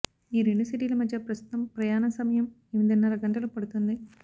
ఈ రెండు సిటీల మధ్య ప్రస్తుతం ప్రయాణ సమయం ఎనిమిదిన్నర గంటలు పడుతుంది